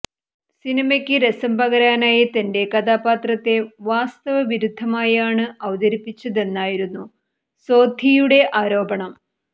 സിനിമയ്ക്ക് രസം പകരാനായി തന്റെ കഥാപാത്രത്തെ വാസ്തവവിരുദ്ധമായാണ് അവതരിപ്പിച്ചതെന്നായിരുന്നു സോന്ധിയുടെ ആരോപണം